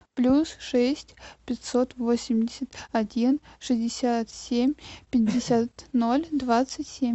плюс шесть пятьсот восемьдесят один шестьдесят семь пятьдесят ноль двадцать семь